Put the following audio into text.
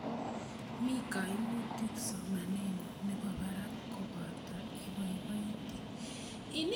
Mi kaimutik somanennyu nepo parak kobate ipoipoiti